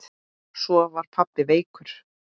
Svo var pabbi veikur.